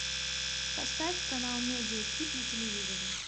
поставь канал медиа хит на телевизоре